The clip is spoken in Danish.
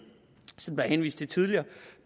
som der er henvist til tidligere